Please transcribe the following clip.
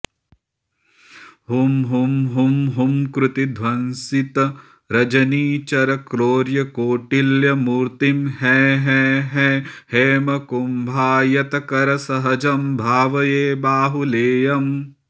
हुं हुं हुं हुंकृतिध्वंसितरजनिचरक्रौर्यकौटिल्यमूर्तिं हैं हैं हैं हैमकुंभायतकरसहजं भावये बाहुलेयम्